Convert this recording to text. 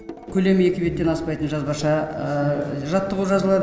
көлемі екі беттен аспайтын жазбаша жаттығу жазылады